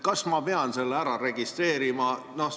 Kas ma pean selle ära registreerima?